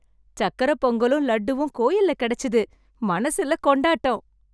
சக்கரைப் பொங்கலும் லட்டுவும் கோயில்ல கிடைச்சுது. மனசுல கொண்டாட்டம்